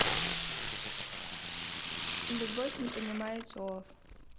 любовь не понимает слов